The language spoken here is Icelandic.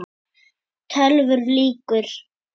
TÖLVUR LÝKUR